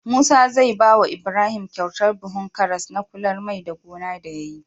Musa zai bawa Ibrahim kyautar buhun karas na kular mai da gona da yayi